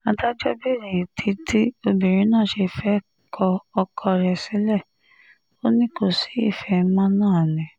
adájọ́ béèrè ìdí tí obìnrin náà ṣe fẹ́ẹ́ kọ ọkọ rẹ̀ sílẹ̀ ò ní kò sí ìfẹ́ mọ́ náà ni